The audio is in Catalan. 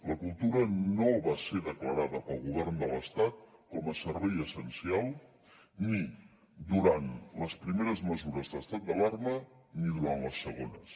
la cultura no va ser declarada pel govern de l’estat com a servei essencial ni durant les primeres mesures d’estat d’alarma ni durant les segones